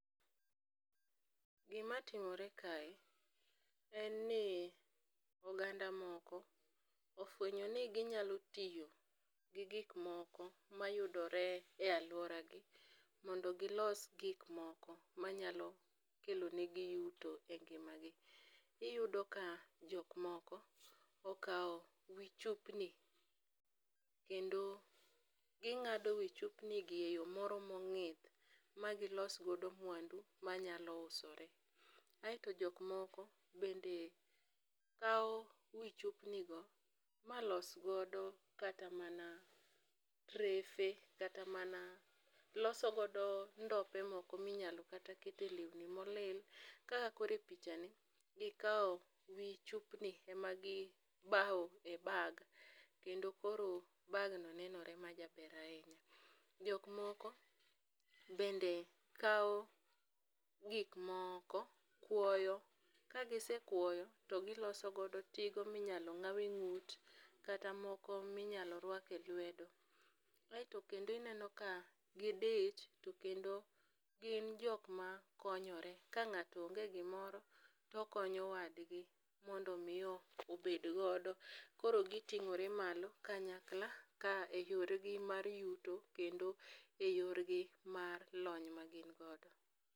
Gimatimore kae en ni oganda moko ofwenyoni ginyalo tiyo gi gikmoko mayudore e aluoragi mondo gilos gikmoko manyalo kelonegi yuto e ngimagi. Iyudo ka jokmoko okao wii chupni kendo ging'ado wii chupnigi e yoo moro mongi magilosgo muandu manyalo usore. Ae to jokmoko bende kao wii chupnigo malosgodo kata mana drefe kata mana loso godo ndope moko minyalo kata kete leuni molil kaka koro e pichani gikao wii chupni emagibao e bag kendo koro bagno nenore majaber ainya. Jokmoko bende kao gikmoko kuoyo, kagisekuoyo togilosogodo tigo minyalong'awe ng'ut kata moko minyalo rwake lwedo. Ae to kendo ineno ka gidich to kendo gin jokmakonyore. Ka ng'ato onge gimoro to okonyo wadgi mondo omii obedgodo koro giting'ore malo kanyakla ka e yoregi mar yuto kendo e yorgi mar lony magingodo.